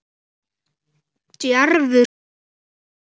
Djarfur sko.